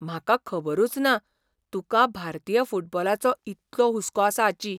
म्हाका खबरूच ना, तुकां भारतीय फुटबॉलाचो इतलो हुस्को आसा हाची .